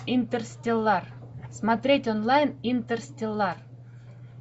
интерстеллар смотреть онлайн интерстеллар